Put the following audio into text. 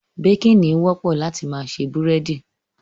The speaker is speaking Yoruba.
Baking, ni wọ́pọ̀ láti ma se búrẹ́dí